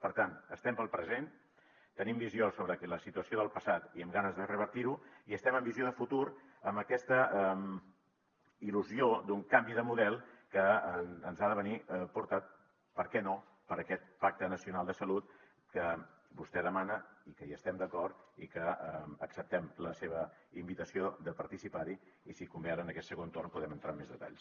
per tant estem pel present tenim visió sobre la situació del passat i amb ganes de revertir ho i estem amb visió de futur amb aquesta il·lusió d’un canvi de model que ens ha de venir portat per què no per aquest pacte nacional de salut que vostè demana i que hi estem d’acord i que acceptem la seva invitació de participar hi i si convé ara en aquest segon torn podem entrar en més detalls